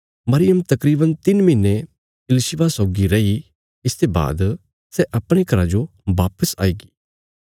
मरियम तकरीवन तिन्न महीने इलिशिबा सौगी रैयी इसते बाद सै अपणे घरा जो बापिस आई गी